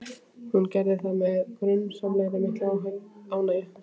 Hún gerði það með grunsamlega mikilli ánægju.